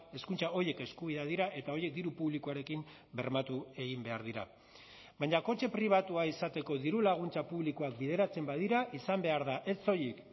hezkuntza horiek eskubideak dira eta horiek diru publikoarekin bermatu egin behar dira baina kotxe pribatua izateko dirulaguntza publikoak bideratzen badira izan behar da ez soilik